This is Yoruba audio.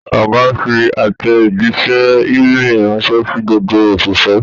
Ọgá fí àtẹjísẹ́ e-mail ranṣẹ sí gbogbo oṣiṣẹ.